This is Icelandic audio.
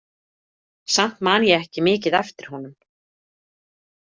Samt man ég ekki mikið eftir honum.